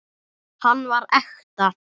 Hann var ekta.